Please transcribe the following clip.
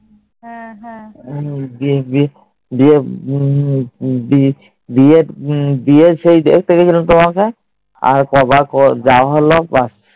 বিয়ে বিয়ে বিয়ে বিয়ে বিয়ের সেই দেখতে গেছিলাম তোমাকে, আর কবার যাওয়া হল